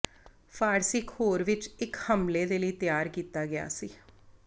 ਫ਼ਾਰਸੀ ਇਕ ਹੋਰ ਵਿੱਚ ਇੱਕ ਹਮਲੇ ਦੇ ਲਈ ਤਿਆਰ ਕੀਤਾ ਗਿਆ ਸੀ